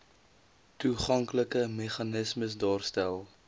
toeganklike meganismes daarstel